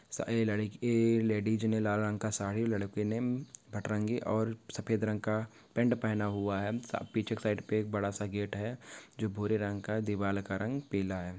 सा ये लड़की ये लेडीज ने लाल रंग का साड़ी लड़के ने भटरंगी और सफ़ेद रंग का पैंट पहना हुआ है सा पीछे के साइड पे बड़ा सा गेट है जो भूरे रंग का दीवार का रंग पीला है।